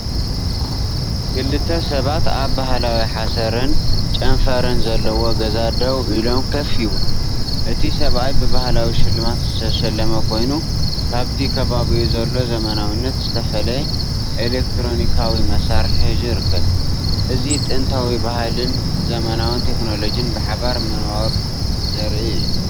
ክልተ ሰባት ኣብ ባህላዊ ሓሰርን ጨንፈርን ዘለዎ ገዛ ደው ኢሎም ኮፍ ይብሉ። እቲ ሰብኣይ ብባህላዊ ሽልማት ዝተሸለመ ኮይኑ ካብቲ ከባቢኡ ዘሎ ዘመናዊነት ዝተፈልየ ኤሌክትሮኒካዊ መሳርሒ ሒዙ ይርከብ። እዚ ጥንታዊ ባህልን ዘመናዊ ቴክኖሎጅን ብሓባር ምንባር ዘርኢ እዩ።